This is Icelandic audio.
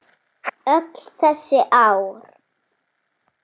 Öll þessi ár.